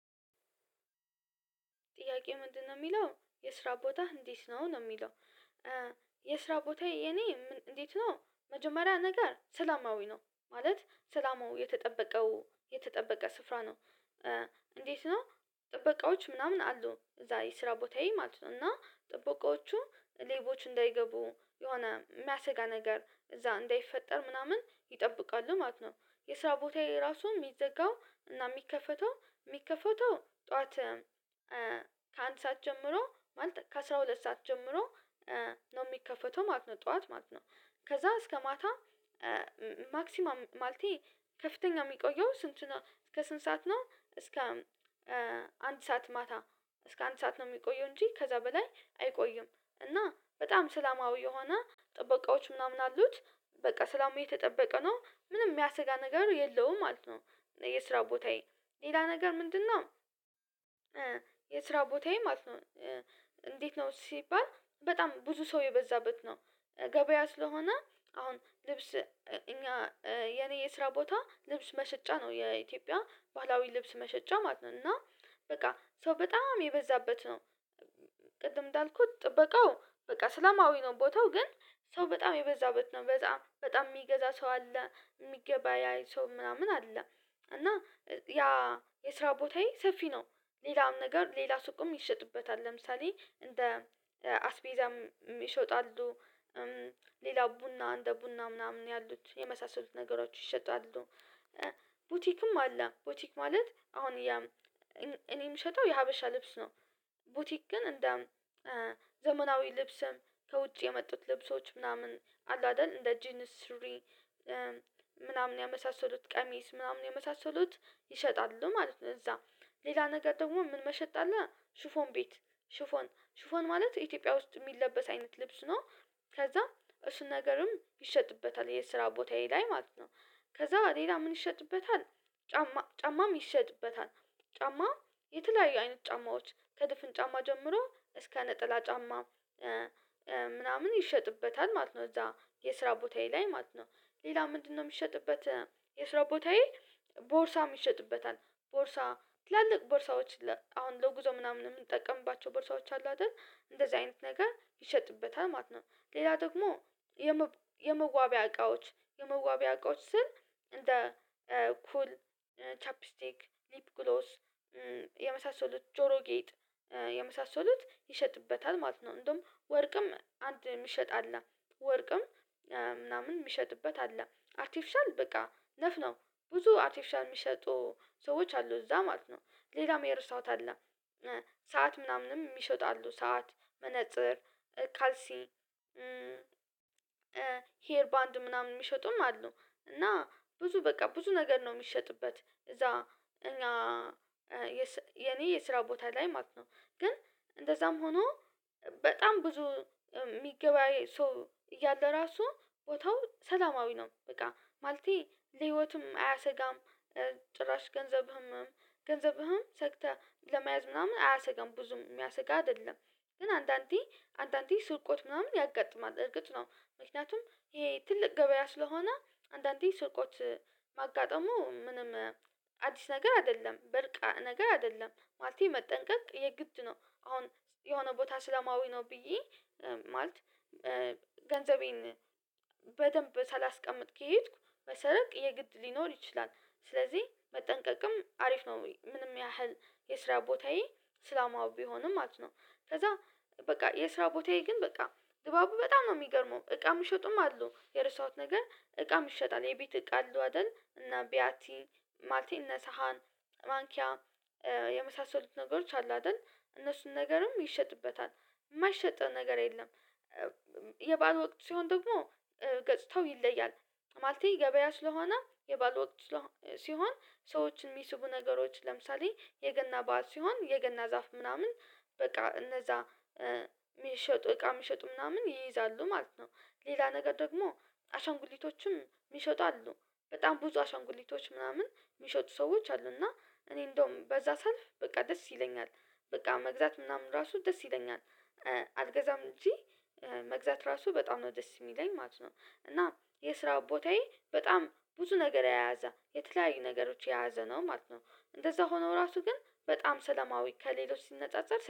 ጥያቄ ምንድነው የሚለው የስራ ቦታ እንዴት ነው ነው የሚለው? የስራ ቦታዬ የኔ እንዴት ነው መጀመሪያ ነገር ሰላማዊ ነው ማለት ሰላማዊ የተጠበቀው የተጠበቀ ስፍራ ነው። እንዴት ነው? ጥበቃዎች ምናምን አሉ እዛ የስራ ቦታዬ ማለት ነው እና ጥበቃዎቹ ሌቦች እንዳይገቡ የሆነ የሚያስገኝ ነገር እዛ እንዳይፈጠር ምናምን ይጠብቃል ማለት ነው። የስራ ቦታዬ ራሱ የሚዘጋው እና የሚከፈተው የሚከፈተው ጠዋት ከአንድ ሰዓት ጀምሮ ማለት ከአስራ ሁለት ሰዓት ጀምሮ ነው የሚከፈተው ማለት ነው ጠዋት ማለት ነው። ከዛ እስከ ማታ ማክሲማል ማለቴ ከፍተኛ የሚቆየው ስንት ነው እስከ ስንት ሰዓት ነው? እስከ አንድ ሰዓት ማታ እስከ አንድ ሰዓት ነው የሚቆየው እንጂ ከዛ በላይ አይቆይም። እና በጣም ሰላማዊ የሆነ ጥበቃዎች ምናምን አሉት በቃ ሰላማዊ የተጠበቀ ነው ምንም የሚያሰጋ ነገር የለውም ማለት ነው። የስራው ቦታዬ ሌላ ነገር ምንድነው? የስራ ቦታዬ ማለት ነው እንዴት ነው ሲባል በጣም ብዙ ሰው የበዛበት ነው። ገበያ ስለሆነ አሁን ልብስ እኛ የኔ የስራ ቦታ ልብስ መሸጫ ነው የኢትዮጵያ ባህላዊ ልብስ መሸጫ ማለት ነው። እና በቃ ሰው በጣም የበዛበት ነው። ቅድም እንዳልኩት ጥበቃው በቃ ስለማዊ ነው ቦታው ግን ሰው በጣም የበዛው በት ነው በጣም በጣም የሚገዛ ሰው አለ የሚገባ ያይ ሰው ምናምን አለ። እና ያ የስራ ቦታዬ ሰፊ ነው። ሌላም ነገር ሌላ ሱቅም ይሸጥበታል ለምሳሌ እንደ አስቤዛም ይሾጣሉ ሌላ ቡና እንደ ቡና ምናምን ያሉት የመሳሰሉት ነገሮች ይሸጣሉ። ቡቲክም አለ ቡቲክ ማለት አሁን እኔ የምሸጠው የሀበሻ ልብስ ነው። ቡቲክ ግን እንደ ዘመናዊ ልብስም ከውጭ የመጡት ልብሶች ምናምን አሉ አይደል እንደ ጂኒስሪ ምናምን ያመሳሰሉት ቀሚስ ምናምን የመሳሰሉት ይሸጣሉ ማለት ነው። እዛ ሌላ ነገር ደግሞ ምን መሸጥ አለ ሽፎን ቤት ሽፎን ሽፎን ማለት ኢትዮጵያ ውስጥ የሚለበስ አይነት ልብስ ነው። ከዛም እሱን ነገርም ይሸጥበታል የስራ ቦታዬ ላይ ማለት ነው። ከዛ ሌላ ምን ይሸጥበታል? ጫማ ጫማም ይሸጥበታል ጫማ የተለያዩ አይነት ጫማዎች ከድፍን ጫማ ጀምሮ እስከ ነጠላ ጫማ ምናምን ይሸጥበታል ማለት ነው። እዛ የስራ ቦታዬ ላይ ማለት ነው ሌላ ምንድነው የሚሸጥበት? የስራ ቦታዬ ቦርሳ ይሸጥበታል ቦርሳ ትላልቅ ቦርሳዎች አሁን ለጉዞ ምናምን የምንጠቀምባቸው በእርሳዎች አሉ አይደል እንደዚህ አይነት ነገር ይሸጥበታል ማለት ነው። ሌላ ደግሞ የመዋቢያ እቃዎች የመዋቢያ እቃዎች ስል እንደ ኩል ቻፔስቲክ ሊፕ ግሎስ የመሳሰሉት ጆሮ ጌጥ የመሳሰሉት ይሸጥበታል ማለት ነው። እንደውም ወርቅም አንድ የሚሸጥ አለ ወርቅም ምናምን የሚሸጥበት አለ አርቲፊሻል በቃ ነፍ ነው ብዙ አርቲፊሻል የሚሰጡ ሰዎች አሉ እዛ ማለት ነው። ሌላ መሄድ የረሳዉት አለ ሰዓት ምናምንም ይሸጣሉ ሰዓት መነፅር ካልሲ ሄር ባንድ ምናምን የሚሸጡም አሉ እና ብዙ በቃ ብዙ ነገር ነው የሚሸጥበት እዛ። እኛ የኔ የስራ ቦታ ላይ ማለት ነው ግን እንደዛም ሆኖ በጣም ብዙ የሚገባ ሰው እያለ ራሱ ወታው ሰላማዊ ነው በቃ ማለቴ ለህይወትም አያሰጋም ጭራሽ ገንዘብህም ገንዘብህም ሰግተህ ለመያዝ ምናምን አያሰጋም ብዙም የሚያስጋ አይደለም። ግን አንዳንዴ አንዳንዴ ስርቆት ምናምን ያጋጥማል እርግጥ ነው ምክንያቱም ይሄ ትልቅ ገበያ ስለሆነ አንዳንዴ ስርቆች ማጋጠሙ ምንም አዲስ ነገር አይደለም ብርቅ ነገር አይደለም ማለቴ መጠንቀቅ የግድ ነው። አሁን የሆነ ቦታ እስላማዊ ነው ብዬ ማለት ገንዘቤን በደንብ ሳላስቀምጥ ከሄድኩ በሰረቅ የግድ ሊኖር ይችላል። ስለዚህ መጠንቀቅም አሪፍ ነው ምንም ያህል የስራ ቦታዬ ስላማው ቢሆንም ማለት ነው። ከዛ በቃ የስራ ቦታዬ ግን በቃ ግባቡ በጣም ነው የሚገርመው እቃ የምትሸጡም አሉ የረስታውት ነገር እቃ ይሸጣል የቤት እቃ አለው አይደል እና ቢያቲ ማቴነሳሃን ነሳሃን ማንኪያ የመሳሰሉት ነገሮች አሉ አይደል እነሱን ነገርም ይሸጥበታል የማይሸጠው ነገር የለም። የባዓል ወቅት ሲሆን ደግሞ ገጽተው ይለያል ማለቴ ገበያ ስለሆነ የባዓል ወቅት ስለሆነ ሲሆን ሰዎችን የሚስቡ ነገሮች ለምሳሌ የገና በዓል ሲሆን የገና ዛፍ ምናምን በቃ እነዛ የሚሸጡ እቃ የሚሸጡ ምናምን ይይዛሉ ማለት ነው። ሌላ ነገር ደግሞ አሻንጉሊቶችም የሚሸጡ አሉ በጣም ብዙ አሻንጉሊቶች ምናምን የሚሸጡ ሰዎች አሉና እኔ እንደውም በዛ ሳልፍ በቃ ደስ ይለኛል በቃ መግዛት ምናምን ራሱ ደስ ይለኛል። አልገዛም እንጂ መግዛት ራሱ በጣም ነው ደስ የሚለኝ ማለት ነው። እና የስራ ቦታዬ በጣም ብዙ ነገር የያዘ የተለያዩ ነገሮች የያዘ ነው ማለት ነው። እንደዛ ሆኖ ራሱ ግን በጣም ሰለማዊ ከሌሎች ሲነጻጸር